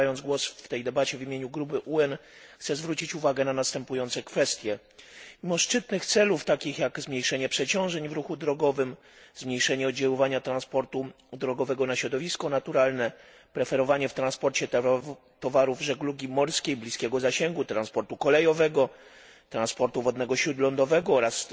Zabierając głos w tej debacie w imieniu grupy UEN chcę zwrócić uwagę na następujące kwestie Mimo szczytnych celów, takich jak zmniejszenie przeciążeń w ruchu drogowym, zmniejszenie oddziaływania transportu drogowego na środowisko naturalne, preferowanie w transporcie towarów żeglugi morskiej bliskiego zasięgu, transportu kolejowego, transportu wodnego śródlądowego oraz